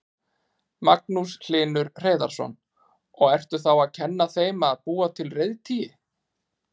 Magnús Hlynur Hreiðarsson: Og ertu þá að kenna þeim að búa til reiðtygi?